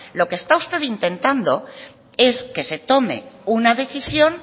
lo que está usted intentando es que se tome una decisión